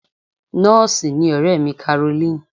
Nọ́ọ̀sì ni ọ̀rẹ́ mi Caroline.